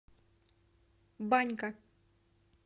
банька